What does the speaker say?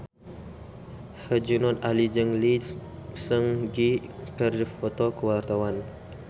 Herjunot Ali jeung Lee Seung Gi keur dipoto ku wartawan